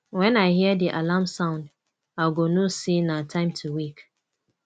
wen i hear di alarm sound i go know sey na time to wake